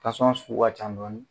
sugu ka ca dɔɔnin